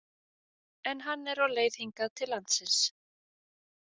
En hann er á leið hingað til landsins.